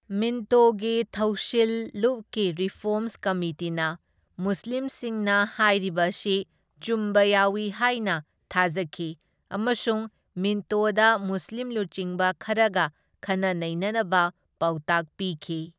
ꯃꯤꯟꯇꯣꯒꯤ ꯊꯧꯁꯤꯜ ꯂꯨꯞꯀꯤ ꯔꯤꯐꯣꯔꯝꯁ ꯀꯃꯤꯇꯤꯅ ꯃꯨꯁꯂꯤꯝꯁꯤꯡꯅ ꯍꯥꯏꯔꯤꯕ ꯑꯁꯤ ꯆꯨꯝꯕ ꯌꯥꯎꯢ ꯍꯥꯏꯅ ꯊꯥꯖꯈꯤ ꯑꯃꯁꯨꯡ ꯃꯤꯟꯇꯣꯗ ꯃꯨꯁꯂꯤꯝ ꯂꯨꯆꯤꯡꯕ ꯈꯔꯒ ꯈꯟꯅ ꯅꯩꯅꯅꯕ ꯄꯥꯎꯇꯥꯛ ꯄꯤꯈꯤ꯫